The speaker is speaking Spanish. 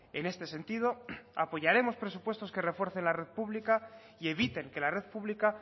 en este sentido apoyaremos presupuestos que refuercen la red pública y eviten que la red pública